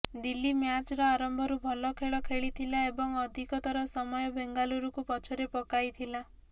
ଦିଲ୍ଲୀ ମ୍ୟାଚର ଆରମ୍ଭରୁ ଭଲ ଖେଳ ଖେଳିଥିଲା ଏବଂ ଅଧିକତର ସମୟ ବେଙ୍ଗଲୁରକୁ ପଛରେ ପକାଇଥିଲା